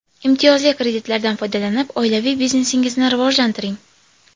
Imtiyozli kreditlardan foydalanib, oilaviy biznesingizni rivojlantiring!